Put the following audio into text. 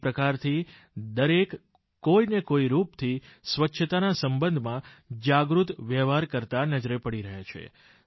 એક પ્રકારથી દરેક કોઈને કોઈ રૂપથી સ્વચ્છતાના સંબંધમાં જાગૃત વ્યવહાર કરતા નજરે પડી રહ્યા છે